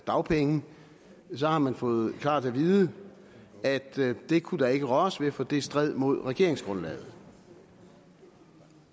dagpenge så har man fået klart at vide at det kunne der ikke røres ved for det stred mod regeringsgrundlaget